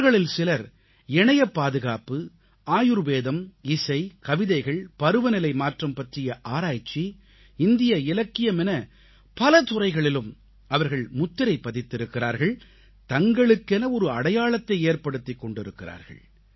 அவர்களில் சிலர் இணையப்பாதுகாப்பு ஆயுர்வேதம் இசை கவிதைகள் பருவநிலை மாற்றம் பற்றிய ஆராய்ச்சி இந்திய இலக்கியம் என பல துறைகளிலும் அவர்கள் முத்திரை பதித்திருக்கிறார்கள் தங்களுக்கென ஒரு அடையாளத்தை ஏற்படுத்திக் கொண்டிருக்கிறார்கள்